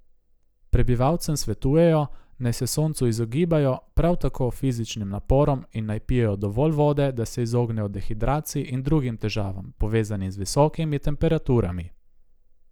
Prebivalcem svetujejo, naj se soncu izogibajo, prav tako fizičnim naporom in naj pijejo dovolj vode, da se izognejo dehidraciji in drugim težavam, povezanim z visokimi temperaturami.